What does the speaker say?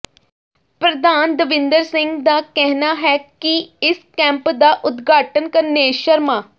ਪ੍ਰਧਾਨ ਦਵਿੰਦਰ ਸਿੰਘ ਦਾ ਕਹਿਣਾ ਹੈ ਕਿ ਇਸ ਕੈਂਪ ਦਾ ਉਦਘਾਟਨ ਕਰਨੇਸ਼ ਸ਼ਰਮਾ